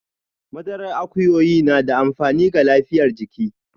Madarar akuyoyi na da amfani ga lafiyar jiki.